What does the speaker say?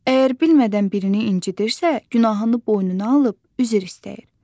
Əgər bilmədən birini incidirsə, günahını boynuna alıb üzr istəyir.